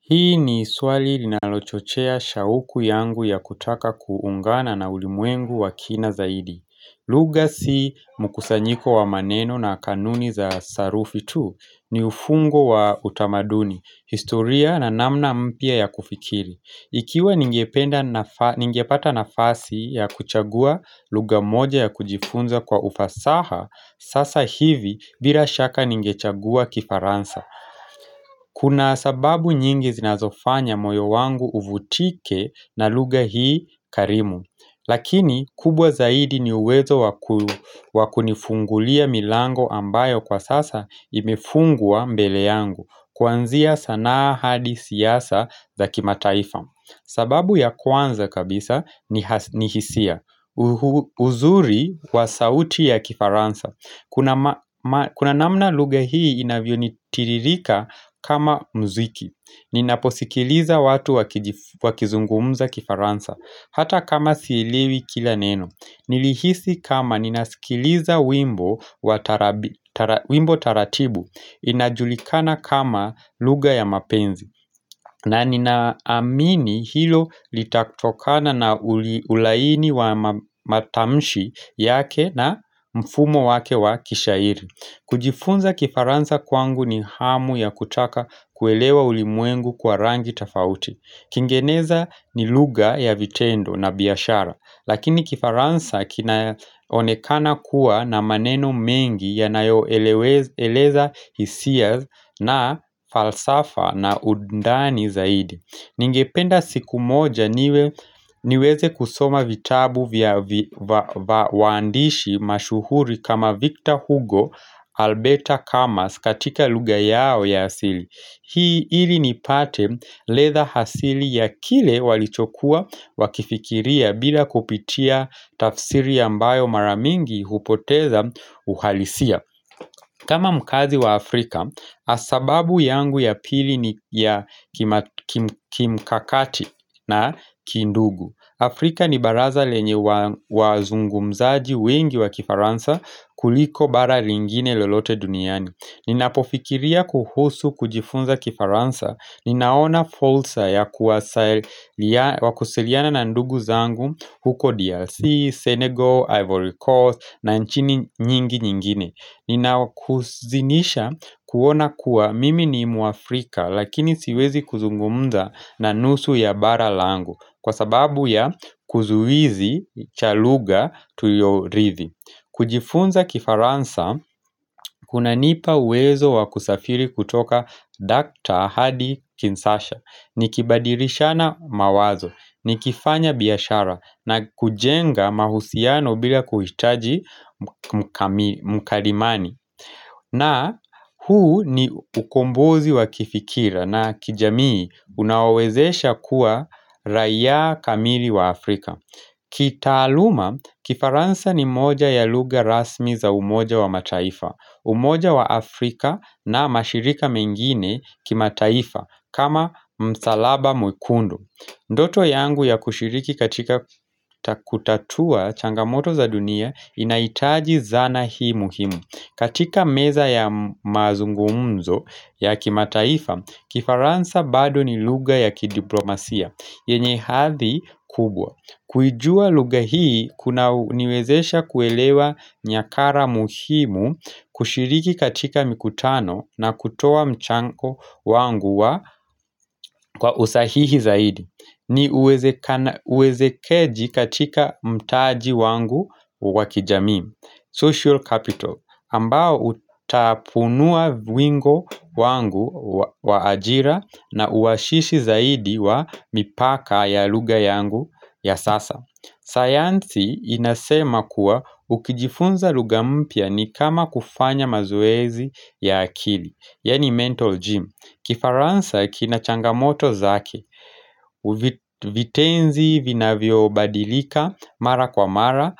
Hii ni swali linalochochea shauku yangu ya kutaka kuungana na ulimwengu wa kina zaidi lugha si mkusanyiko wa maneno na kanuni za sarufi tu ni ufungo wa utamaduni, historia na namna mpya ya kufikiri Ikiwa ningepata nafasi ya kuchagua lugha moja ya kujifunza kwa ufasaha sasa hivi bila shaka ningechagua kifaransa Kuna sababu nyingi zinazofanya moyo wangu uvutike na lugha hii karimu Lakini kubwa zaidi ni uwezo wakunifungulia milango ambayo kwa sasa imefungwa mbele yangu Kuanzia sanaa hadi siasa za kimataifa sababu ya kwanza kabisa ni hisia uzuri wa sauti ya kifaransa kuna Kuna namna lugha hii inavyonitiririka kama mziki Ninaposikiliza watu wakizungumza kifaransa Hata kama sielewi kila neno Nilihisi kama ninasikiliza wimbo wa wimbo taratibu inajulikana kama lugha ya mapenzi na ninaamini hilo litatokana na ulaini wa matamshi yake na mfumo wake wa kishairi kujifunza kifaransa kwangu ni hamu ya kutaka kuelewa ulimwengu kwa rangi tofauti Kingeneza ni lugha ya vitendo na biashara Lakini kifaransa kinaonekana kuwa na maneno mengi yanayo eleza hisia na falsafa na undani zaidi Ningependa siku moja niweze kusoma vitabu waandishi mashuhuri kama Victor Hugo, Alberta Camas katika lugha yao ya asili Hii ili nipate radha hasili ya kile walichokuwa wakifikiria bila kupitia tafsiri ambayo mara mingi hupoteza uhalisia kama mkaazi wa Afrika, sababu yangu ya pili ni ya kimkakati na kindugu Afrika ni baraza lenye wazungumzaji wengi wa kifaransa kuliko bara lingine lolote duniani Ninapofikiria kuhusu kujifunza kifaransa Ninaona farsa ya kuwasiliana na ndugu zangu huko DRC, Senegal, Ivory Coast na nchini nyingi nyingine ina huzinisha kuona kuwa mimi ni muafrika lakini siwezi kuzungumza na nusu ya bara langu Kwa sababu ya kizuizi cha lugha tuliyorithi kujifunza kifaransa, kuna nipa uwezo wa kusafiri kutoka Dr. Hadi Kinsasha ni kibadirishana mawazo, ni kifanya biyashara na kujenga mahusiano bila kuhitaji mkalimani na huu ni ukombozi wa kifikira na kijamii unaowezesha kuwa raiya kamili wa Afrika kitaaluma, kifaransa ni moja ya lugha rasmi za umoja wa mataifa umoja wa Afrika na mashirika mengine kimataifa kama msalaba mwikundu Ndoto yangu ya kushiriki katika kutatua changamoto za dunia Inahitaji zana hii muhimu katika meza ya mazungumzo ya kimataifa Kifaransa bado ni lugha ya kidiplomasia yenye hathi kubwa Kuijua lugha hii kunaniwezesha kuelewa nyakara muhimu kushiriki katika mikutano na kutoa mchango wangu kwa usahihi zaidi ni uwezekeji katika mtaji wangu wa kijamii Social capital ambao utapunua wingo wangu wa ajira na uwashishi zaidi wa mipaka ya lugha yangu ya sasa sayansi inasema kuwa ukijifunza lugha mpya ni kama kufanya mazoezi ya akili Yani mental gym Kifaransa kina changamoto zake Vitenzi vinavyobadilika mara kwa mara